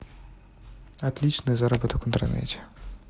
отличный заработок в интернете